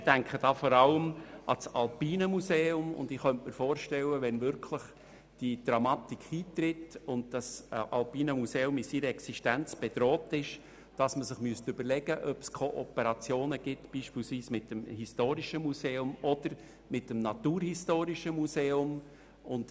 Ich denke da vor allem an das Alpine Museum und könnte mir vorstellen, dass man sich überlegen müsste, ob beispielsweise Kooperationen mit dem Historischen oder mit dem Naturhistorischen Museum möglich wären, sollte diese Dramatik wirklich eintreten und das Alpine Museum in seiner Existenz bedroht sein.